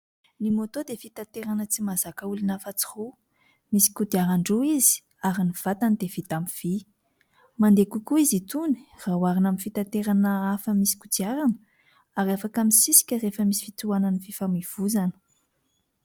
Ny môtô dia fitanterana tsy mazaka olona afa tsy roa. Misy kodiaran-droa izy, ary ny vatany dia vita amin'ny vy. Mandeha kokoa izy itony raha oharina amin'ny fitanterana hafa misy kodiarana; ary afaka misisika rehefa misy fitohanan'ny fifamoivoizana.